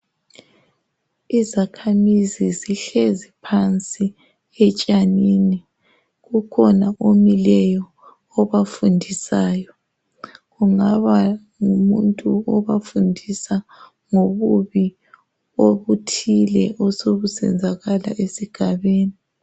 Izakhamizi zihlezi phansi etshanini, kukhona omileyo obafundisayo, kungaba ngumuntu obafundisa ngobubi obuthile osobusenzakala esigabeni.